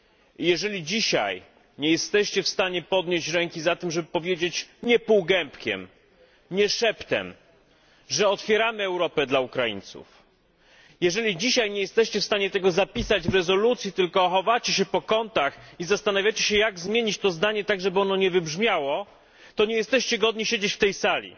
I jeżeli dzisiaj nie jesteście w stanie podnieść ręki za tym, żeby powiedzieć nie półgębkiem, nie szeptem że otwieramy Europę dla Ukraińców, jeżeli dzisiaj nie jesteście w stanie tego zapisać w rezolucji, tylko chowacie się po kątach i zastanawiacie się, jak zmienić to zdanie tak, żeby ono nie wybrzmiało, to nie jesteście godni siedzieć w tej sali,